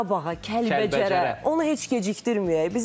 Qarabağa, Kəlbəcərə, onu heç gecikdirməyək.